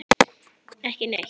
Ekki neitt.